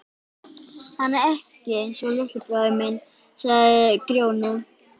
Hann er ekki einsog litli bróðir minn, sagði Grjóni.